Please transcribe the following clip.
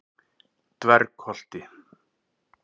Dvergholti